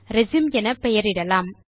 resume என பெயர் இடலாம்